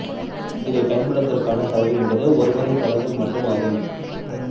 இதை பயன்படுத்துவதற்கான செலவு என்பது ஒரு முறை செலவு மட்டும் ஆகும்